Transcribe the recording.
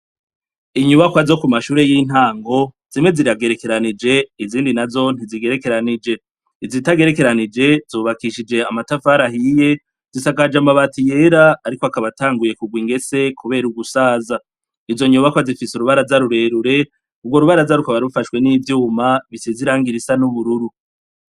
Inyubakwa zo ku mashuri y'intango zimwe ziragerekeranije izindi na zo ntizigerekeranije, izitagerekeranije zubakishije amatavara ahiye zisakaje amabati yera ariko akaba tanguye kugwa ingese kubera ugusaza .Izo nyubakwa zifise urubaraza rurerure kubwo rubara zarukaba bufashwe n'ivyuma bisize Irangirisa n'ubururu.